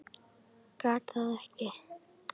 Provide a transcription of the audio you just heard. Gat það ekki.